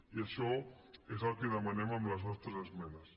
i això és el que demanem amb les nostres esmenes